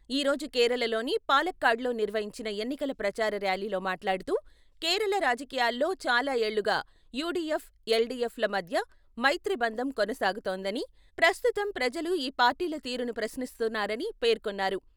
ఈ రోజు కేరళలోని పాలక్కాడ్లో నిర్వహించిన ఎన్నికల ప్రచార ర్యాలీలో మాట్లాడుతూ, కేరళ రాజకీయాల్లో చాలా ఏళ్లుగా యూడీఎఫ్, ఎల్డీఎఫ్ ల మధ్య 'మైత్రీ బంధం 'కొనసాగుతోందని, ప్రస్తుతం ప్రజలు ఈ పార్టీల తీరును ప్రశ్నిస్తున్నారని పేర్కొన్నారు.